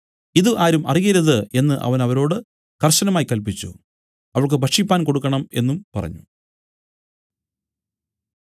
ഇതു ആരും അറിയരുത് എന്നു അവൻ അവരോട് കർശനമായി കല്പിച്ചു അവൾക്ക് ഭക്ഷിക്കുവാൻ കൊടുക്കണം എന്നും പറഞ്ഞു